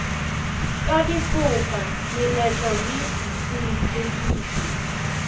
ka difoka meletlo le boiphedišo